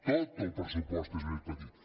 tot el pressupost és més petit